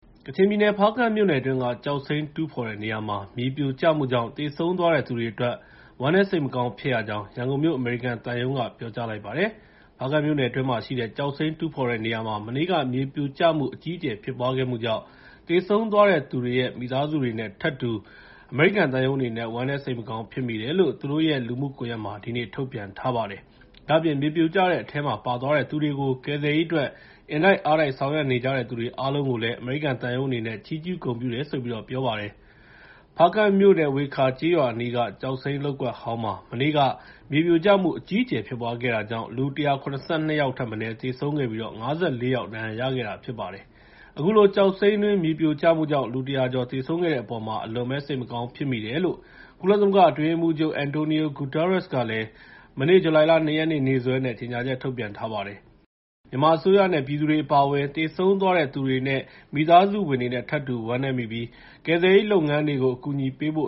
ကချင်ပြည်နယ် ဖားကန့်မြို့နယ်အတွင်းက ကျောက်စိမ်းတူးဖော်တဲ့နေရာမှာ မြေပြိုကျမှုကြောင့် သေဆုံးသွားတဲ့သူတွေအတွက် ဝမ်းနည်း စိတ်မကောင်းဖြစ်ရကြောင်း ရန်ကုန်မြို့ အမေရိကန်သံရုံးက ပြောကြားလိုက်ပါတယ်။ ဖားကန့်မြို့နယ်တွင်းမှာ ရှိတဲ့ ကျောက်စိမ်းတူးဖော်တဲ့နေရာမှာ မနေ့က မြေပြိုကျမှု အကြီးအကျယ်ဖြစ်ပွားခဲ့မှုကြောင့် သေဆုံးသွားတဲ့သူတွေရဲ့ မိသားစုတွေနဲ့ထပ်တူ အမေရိကန်သံရုံးအနေနဲ့ ဝမ်းနည်းစိတ်မကောင်း ဖြစ်မိတယ်လို့ သူတို့ရဲ့ လူမှုကွန်ရက်မှာ ဒီကနေ့ ထုတ်ပြန်ထားပါတယ်။ ဒါ့အပြင် မြေပြိုကျတဲ့အထဲမှာပါသွားတဲ့သူတွေကို ကယ်ဆယ်ရေးအတွက် အင်တိုက်အားတိုက် ဆောင်ရွက်ကြတဲ့သူတွေအားလုံးကိုလည်း အမေရိကန်သံရုံးအနေနဲ့ ချီးကျူးဂုဏ်ပြုတယ်လို့ ပြောကြားလိုက်ပါတယ်။ ဖားကန့်မြို့နယ် ဝေခါကျေးရွာအနီးက ကျောက်စိမ်းလုပ်ကွက်ဟောင်းမှာ မနေ့က မြေပြိုကျမှုအကြီးအကျယ် ဖြစ်ပွားခဲ့တာကြောင့် သေဆုံးသူ ၁၇၀ ကျော်၊ ဒဏ်ရာရသူ ၅၀ ကျော် ရှိထားပါတယ်။ အခုလို ကျောက်စိမ်းတွင်း မြေပြိုကျမှုကြောင့် လူ ၁၀၀ ကျော်သေဆုံးခဲ့တဲ့အပေါ် အလွန်စိတ်မကောင်းဖြစ်မိတယ်လို့ ကုလသမဂ္ဂအတွင်းရေးမှူးချုပ် Antonio Guterres ကလည်း မနေ့ ဇူလိုင် ၂ ရက်နေ့ နေ့စွဲနဲ့ ကြေငြာချက်ထုတ်ပြန်ခဲ့ပါတယ်။ မြန်မာအစိုးရနဲ့ ပြည်သူတွေအပါအဝင် သေဆုံးသွားတဲ့သူတွေ၊ မိသားစုဝင်တွေနဲ့ ထပ်တူဝမ်းနည်းမိပြီး ကယ်ဆယ်ရေးလုပ်ငန်းတွေကို အကူအညီပေးဖို့